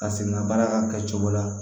Ka segin ŋa baara ka kɛ cogo la